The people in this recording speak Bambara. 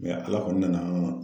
Ala kɔni nana an